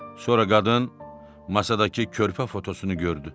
Sonra qadın masadakı körpə fotosunu gördü.